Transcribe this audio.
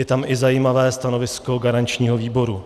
Je tam i zajímavé stanovisko garančního výboru.